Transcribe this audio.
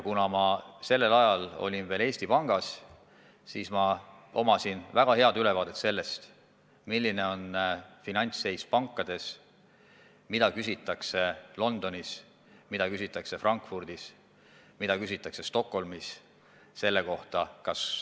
Kuna ma sellel ajal töötasin veel Eesti Pangas, siis mul oli väga hea ülevaade, milline on finantsseis pankades ja mida küsitakse Londonis, mida küsitakse Frankfurdis, mida küsitakse Stockholmis selle kohta.